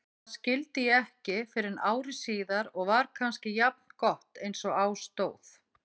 Það skildi ég ekki fyrren ári síðar og var kannski jafngott einsog á stóð.